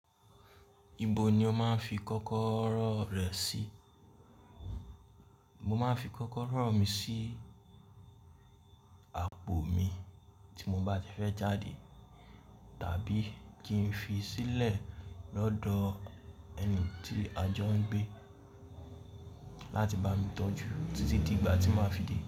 Ibo ni o máa ń fi kọ́kọ́rọ́ rẹ sí? Mo máa ń fi kọ́kọ́rọ́ mi sí àpò mi tí mo bá ti fẹ́ jáde tàbí kí n fi sílẹ̀ lọ́dọ̀ ẹni tí a jọ ń gbé láti bá mi tọ́jú títí di ìgbà tí màá fi dé.